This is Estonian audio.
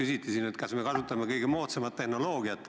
Siin küsiti, kas me kasutame kõige moodsamat tehnoloogiat.